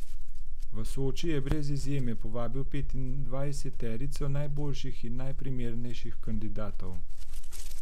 V Soči je brez izjeme povabil petindvajseterico najboljših in najprimernejših kandidatov.